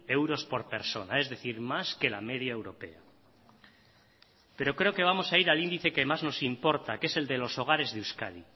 euros por persona es decir más que la media europea pero creo que vamos a ir al índice que más nos importa que es el de los hogares de euskadi